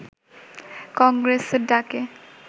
কংগ্রেসের ডাকে